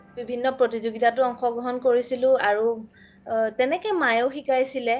বিভিন্ন প্ৰতিযোগিতাতও অংশগ্ৰহণ কৰিছিলো আৰু তেনেকে মায়ে শিকাইছিলে